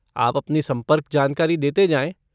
आप अपनी संपर्क जानकारी देते जाएँ।